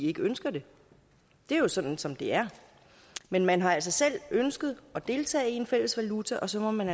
ikke ønsker det det er jo sådan som det er men man har altså selv ønsket at deltage i en fælles valuta og så må man